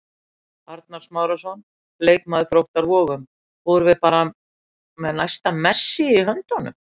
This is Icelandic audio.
Arnar Smárason, leikmaður Þróttar Vogum: Vorum við bara með næsta Messi í höndunum?